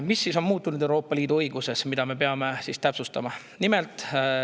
Mis on siis muutunud Euroopa Liidu õiguses ja mida me peame täpsustama?